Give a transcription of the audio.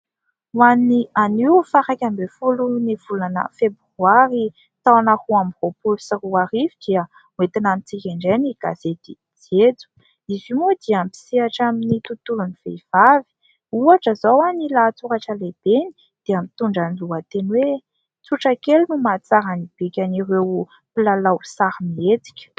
Ho an'ny anio faha iraika ambin'ny folo ny volana febroary taona roa amby roapolo sy roa arivo dia oentina amintsika indray ny gazety jejo. Izy io moa dia misehatra amin'ny tontolon'ny vehivavy. Ohatra izao, ny lahatsoratra lehibeny dia mitondra ny lohateny hoe "tsotra kely no mahatsara ny bikan'ireo mpilalao sarimihetsika" .